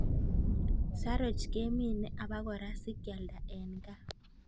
Saroch kemine obokora sikialda en gaa.